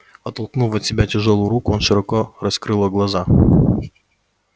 оттолкнув от себя тяжёлую руку он широко раскрыла глаза